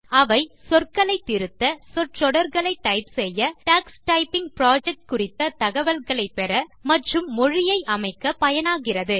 அவை சொற்களை திருத்த சொற்றொடர்களை டைப் செய்ய டக்ஸ் டைப்பிங் புரொஜெக்ட் குறித்த தகவல்களை பெற மற்றும் மொழியை அமைக்க பயனாகிறது